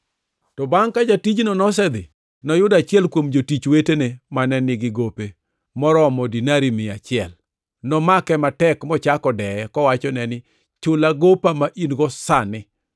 “To bangʼ ka jatijno nosedhi, noyudo achiel kuom jotich wetene mane nigi gope moromo dinari mia achiel. Nomake matek mochako deye, kowachone ni, ‘Chula gopa ma in-go sani!’